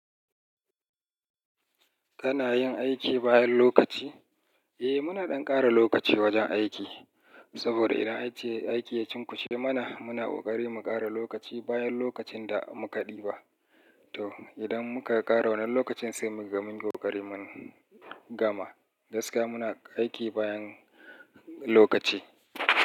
Kana yin aiki bayan lokaci? Eh muna ɗan ƙara lokaci wajen aiki. Saboda idan aiki, aiki ya cunkushe mana, muna ƙoƙari mu ƙara lokaci bayan lokacin da muka ɗiba. To idan muka ƙara wannan lokacin sai muga mun yi ƙoƙari mun gama. Gaskiya muna aiki bayan lokaci.